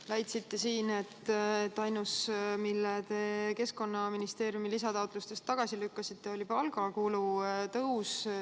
Te väitsite, et ainus, mille te Keskkonnaministeeriumi lisataotlustest tagasi lükkasite, oli palgakulu tõus.